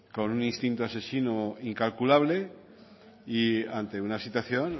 con un instinto asesino incalculable y ante una situación